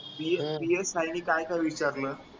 psi ने काय काय विचारलं?